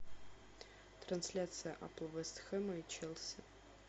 трансляция апл вест хэма и челси